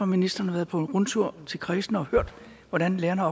ministeren har været på rundtur til kredsene og hørt hvordan lærerne